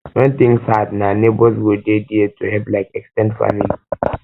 when things hard na neighbors go dey there to help like ex ten ded family